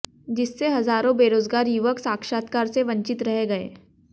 जिससे हजारों बेरोजगार युवक साक्षात्कार से वंचित रह गए